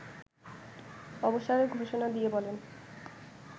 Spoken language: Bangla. অবসরের ঘোষণা দিয়ে বলেন